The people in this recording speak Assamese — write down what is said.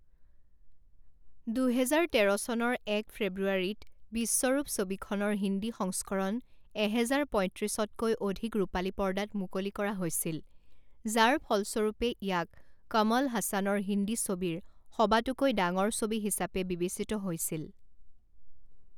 দুহেজাৰ তেৰ চনৰ এক ফেব্ৰুৱাৰী ত বিশ্বৰূপ ছবিখনৰ হিন্দী সংস্কৰণ এহেজাৰ পঁইত্ৰিছতকৈ অধিক ৰূপালী পৰ্দাত মুকলি কৰা হৈছিল, যাৰ ফলস্বৰূপে ইয়াক কমল হাসানৰ হিন্দী ছবিৰ সবাতোকৈ ডাঙৰ ছবি হিচাপে বিবেচিত হৈছিল।